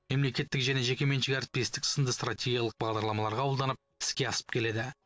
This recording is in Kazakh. мемлекеттік және жекеменшік әріптестік сынды стратегилық бағдарламалар қабылданып іске асып келеді